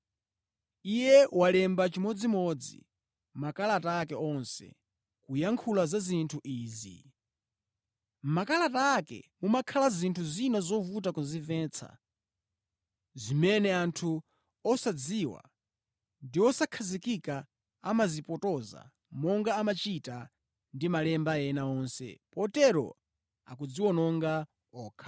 Iye walemba chimodzimodzi makalata ake onse, kuyankhula za zinthu izi. Mʼmakalata ake mumakhala zinthu zina zovuta kuzimvetsa, zimene anthu osadziwa ndi osakhazikika amazipotoza, monga amachita ndi malemba ena onse, potero akudziwononga okha.